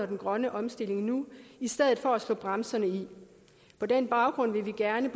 den grønne omstilling nu i stedet for at slå bremserne i på den baggrund vil vi gerne